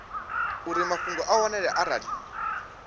uri mafhungo a wanale arali